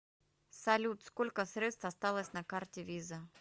салют сколько средств осталось на карте виза